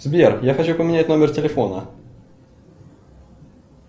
сбер я хочу поменять номер телефона